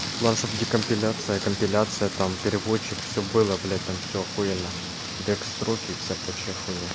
главное что бы декомпиляция и компиляция там переводчик всё было блядь там всё ахуенно декстроук и вся прочая хуйня